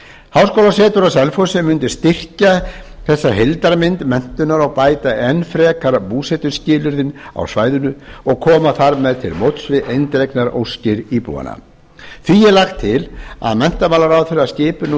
háskólasetur á selfossi mundi styrkja þessa heildarmynd menntunar og bæta enn frekar búsetuskilyrðin á svæðinu og koma þar með til móts við eindregnar óskir íbúanna því er lagt til að menntamálaráðherra skipi nú